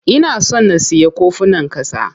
Ina son na siya kofunan ƙasa.